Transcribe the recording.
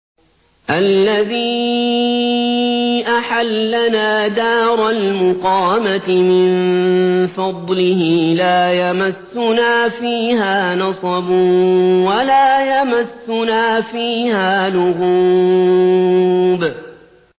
الَّذِي أَحَلَّنَا دَارَ الْمُقَامَةِ مِن فَضْلِهِ لَا يَمَسُّنَا فِيهَا نَصَبٌ وَلَا يَمَسُّنَا فِيهَا لُغُوبٌ